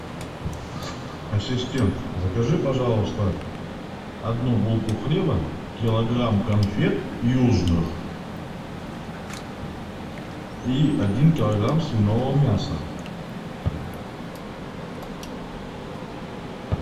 ассистент закажи пожалуйста одну булку хлеба килограмм конфет южных и один килограмм свиного мяса